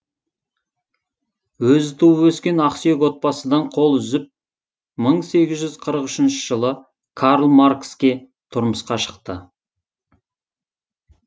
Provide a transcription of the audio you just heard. өзі туып өскен ақсүйек отбасыдан қол үзіп мың сегіз жүз қырық үшінші жылы карл маркске тұрмысқа шықты